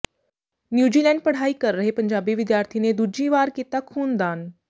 New Zealand ਪੜ੍ਹਾਈ ਕਰ ਰਹੇ ਪੰਜਾਬੀ ਵਿਦਿਆਰਥੀ ਨੇ ਦੂਜੀ ਵਾਰ ਕੀਤਾ ਖ਼ੂਨ ਦਾਨ